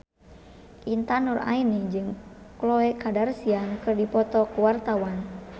Intan Nuraini jeung Khloe Kardashian keur dipoto ku wartawan